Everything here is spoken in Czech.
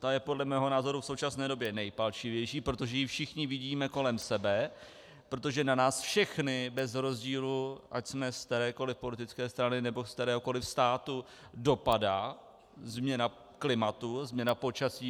Ta je podle mého názoru v současné době nejpalčivější, protože ji všichni vidíme kolem sebe, protože na nás všechny bez rozdílu, ať jsme z kterékoli politické strany nebo z kteréhokoli státu, dopadá změna klimatu, změna počasí.